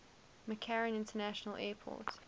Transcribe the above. mccarran international airport